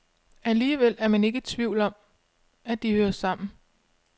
Alligevel er man ikke i tvivl om, at de hører sammen.